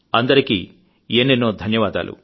అందరికీ ఎన్నెన్నో కృతజ్ఞతలు